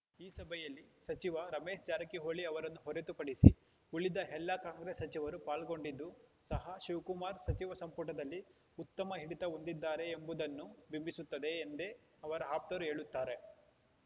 ಈ ಸಭೆಯಲ್ಲಿ ಸಚಿವ ರಮೇಶ್‌ ಜಾರಕಿಹೊಳಿ ಅವರನ್ನು ಹೊರತುಪಡಿಸಿ ಉಳಿದ ಎಲ್ಲಾ ಕಾಂಗ್ರೆಸ್‌ ಸಚಿವರು ಪಾಲ್ಗೊಂಡಿದ್ದು ಸಹ ಶಿವಕುಮಾರ್‌ ಸಚಿವ ಸಂಪುಟದಲ್ಲಿ ಉತ್ತಮ ಹಿಡಿತ ಹೊಂದಿದ್ದಾರೆ ಎಂಬುದನ್ನು ಬಿಂಬಿಸುತ್ತದೆ ಎಂದೇ ಅವರ ಆಪ್ತರು ಹೇಳುತ್ತಾರೆ